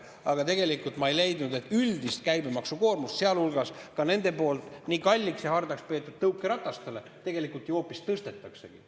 Aga tegelikult üldist käibemaksukoormust, sealhulgas nende poolt nii hardalt kalliks peetud tõukerataste puhul, tegelikult ju hoopis tõstetaksegi.